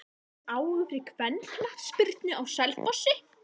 Er mikill áhugi fyrir kvennaknattspyrnu á Selfossi?